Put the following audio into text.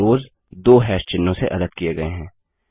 और रोव्ज़ दो हैश चिह्नों से अलग किये गये हैं